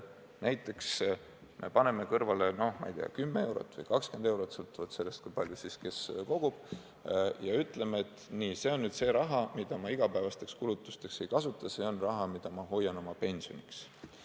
Paneme näiteks kõrvale, no ma ei tea, 10 eurot või 20 eurot – sõltuvalt sellest, kui palju keegi kogub – ja ütleme, et nii, see on nüüd see raha, mida ma igapäevasteks kulutusteks ei kasuta, see on raha, mida ma hoian oma pensioniks.